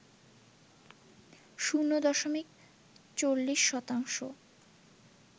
শূণ্য দশমিক ৪০ শতাংশ